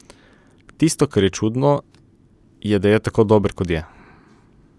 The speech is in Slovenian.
Tisto, kar je čudno, je, da je tako dober, kot je.